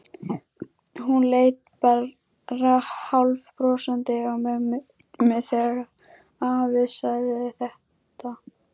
Hún leit bara hálfbrosandi á mömmu þegar afi sagði þetta.